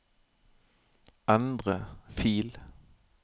endre fil